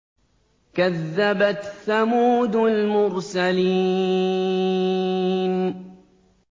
كَذَّبَتْ ثَمُودُ الْمُرْسَلِينَ